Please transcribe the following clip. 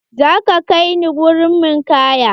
Za ka kai ni wurin ninkaya?